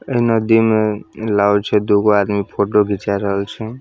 ए नदी में लागे छै दू गो आदमी फोटो घिचाय रहल छै।